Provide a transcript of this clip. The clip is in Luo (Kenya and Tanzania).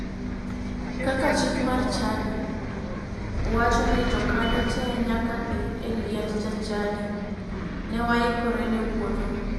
Kaka chik mar chadi wacho ni jokanyo te nyaka dhi e liend jachadi. Ne waikore ne wuodhno.